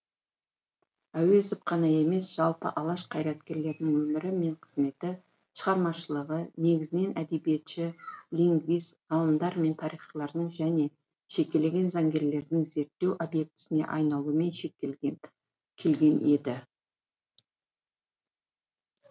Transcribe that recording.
әуезов қана емес жалпы алаш қайраткерлерінің өмірі мен қызметі шығармашылығы негізінен әдебиетші лингвист ғалымдар мен тарихшылардың және жекелеген заңгерлердің зерттеу объектісіне айналумен шектеледі келген еді